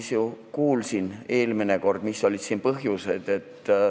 Ma ju kuulsin eelmine kord, mis olid põhjused.